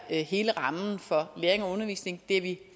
hele rammen for læring og undervisning det er vi